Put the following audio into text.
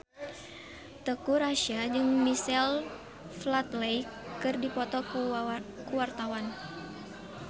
Teuku Rassya jeung Michael Flatley keur dipoto ku wartawan